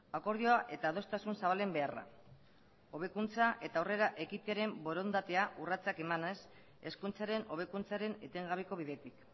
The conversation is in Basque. akordioa eta adostasun zabalen beharra hobekuntza eta aurrera ekitearen borondatea urratsak emanaz hezkuntzaren hobekuntzaren etengabeko bidetik